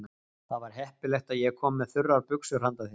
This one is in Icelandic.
Það var heppilegt að ég kom með þurrar buxur handa þér.